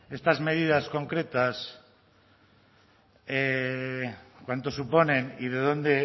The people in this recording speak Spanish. estas medidas concretas cuánto suponen y de dónde